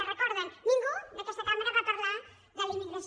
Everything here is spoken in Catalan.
ho recorden ningú d’aquesta cambra va parlar de la immigració